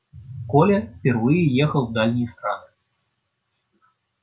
коля впервые ехал в дальние страны